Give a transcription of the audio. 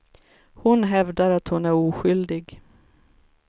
Hon hävdar att hon är oskyldig.